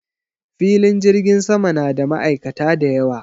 Filin jirgin sama na da ma'aikata da yawa.